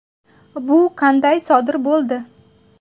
Bu qanday sodir bo‘ldi?